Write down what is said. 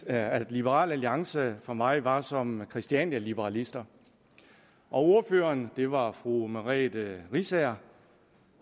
at liberal alliance for mig var som christianialiberalister ordføreren og det var fru merete riisager